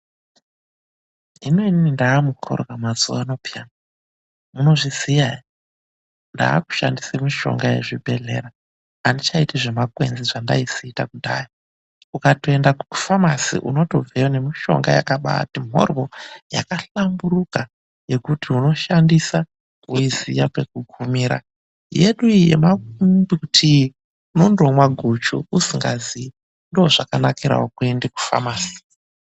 Hino inini ndaa mukhorwa mazuwa ano pheyani. Munozviziya ere? Ndaakushandise mishonga yezvibhedhlera. Andichaiti zvemakwenzi zvendaisiita kudhaya. Ukatoenda kufamasi unotobveyo nemishonga yakabaati mhoryo. Yakahlamburuka yekuti unoshandisa weiziya pekugumira. Yedu iyi yemambuti iyi, unondomwa guchu usikazii. Ndozvakanakirawo kuenda kufamasi.